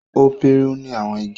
o piruni àwọn igi.